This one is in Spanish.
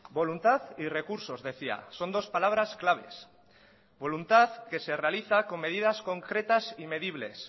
voluntad y recursos decía son dos palabras claves voluntad que se realiza con medidas concretas y medibles